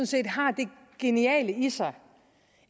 set har det geniale i sig